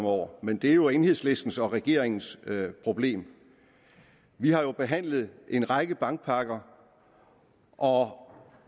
over men det er jo enhedslistens og regeringens problem vi har jo behandlet en række bankpakker og